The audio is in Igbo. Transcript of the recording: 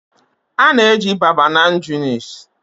a na-eji babanan junice